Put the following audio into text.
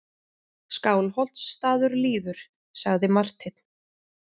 Skálholtsstaður líður, sagði Marteinn.